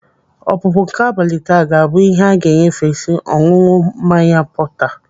Ọpụpụ nke abalị taa ga-abụ ihe a ga-enyefesi ọṅụṅụ mmanya portner.